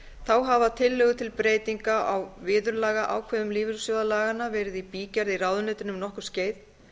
þá hafa tillögur til breytinga á viðurlagaákvæðum lífeyrissjóðalaganna verið í bígerð í ráðuneytinu um nokkurt skeið